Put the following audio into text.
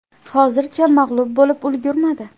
Hozircha mag‘lub bo‘lib ulgurmadi.